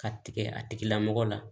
Ka tigɛ a tigilamɔgɔ la